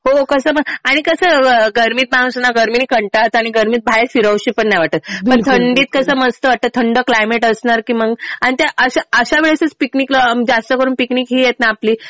हो कसं आणि कसं गर्मीत माणूस ना गर्मीनी कंटाळतं आणि गर्मीत बाहेर फिरावंस पण नाही वाटत. मग थंडीत कसं मस्त वाटतं. थंड क्लायमेट असलं कि मग आणि अशा वेळेसच पिकनिकला जास्त करून पिकनिक हे आहेत ना आपली